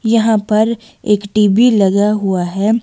यहाँ पर एक टी_वी लगा हुआ हैं।